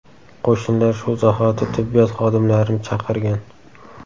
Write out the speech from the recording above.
Qo‘shnilar shu zahoti tibbiyot xodimlarini chaqirgan.